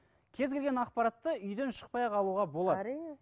кез келген ақпаратты үйден шықпай ақ алуға болады әрине